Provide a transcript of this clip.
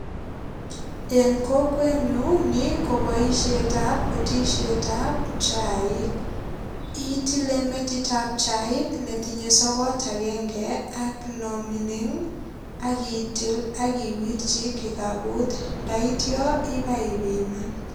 En kokwenyun ni kobosiet ab butisiet ab chaik. Itile metit ab chaik netinye sogot agenge ak nomining ak itil ak iwirchi kikaput. Ndaityo ipaipiman.